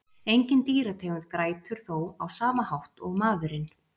Engin dýrategund grætur þó á sama hátt og maðurinn.